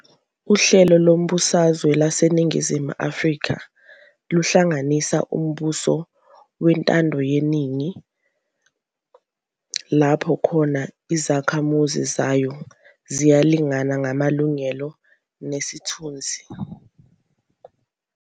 Uhlelo lezombusazwe laseNingizimu Afrika luhlanganisa umbuso wentandayeningi lapho khona izakhamuzi zayo ziyalingana ngamalungelo nesithunzi.